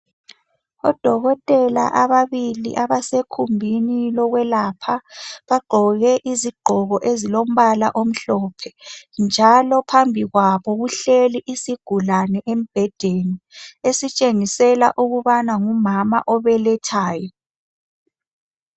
odokotela ababili abasekhumbini lokwelapha bagqoke izigqoko ezilombala omhlophe njalo phambi kwabo kuhleli isigulane embedeni esitshengisela ukubana ngumama obelethayo